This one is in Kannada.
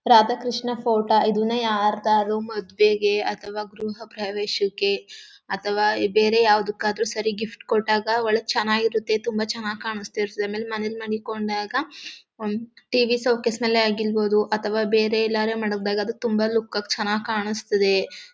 ರಾಧಾ ಕೃಷ್ಣ ಫೋಟೋ ಇದನ್ನ ಯಾರದರೂ ಮದ್ವೆಗೆ ಅಥವಾ ಗೃಹ ಪ್ರವೇಶಕ್ಕೆ ಅಥವಾ ಬೇರೆ ಯಾವದಕ್ಕಾದ್ರೂ ಸರಿ ಗಿಫ್ಟ್ ಕೊಟ್ಟಾಗ ಒಳ್ಳೆ ಚೆನ್ನಾಗಿರುತ್ತೆ ತುಂಬಾ ಚೆನ್ನಾಗ್ ಕಾಣಿಸ್ತಾ ಇರುತ್ತೆ ಆಮೇಲ್ ಮನೆಗ್ ಮಡಿಕೊಂಡಾಗ ಹಮ್ಮ್ ಟಿವಿ ಶೋಕೇಸ್ನಲ್ಲಿ ಯಾಗಿರಬಹುದು ಅಥವಾ ಬೇರೆ ಎಲ್ಲಾದ್ರೂ ಮಡ್ ಗಿದಾಗ ಅದು ತುಂಬಾ ಲುಕ್ ಆಗಿ ಚೆನ್ನಾಗ್ ಕಾಣಿಸ್ತದೆ.